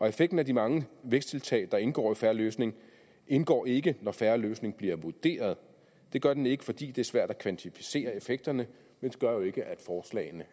effekten af de mange væksttiltag der indgår i fair løsning indgår ikke når fair løsning bliver vurderet det gør den ikke fordi det er svært at kvantificere effekterne men det gør jo ikke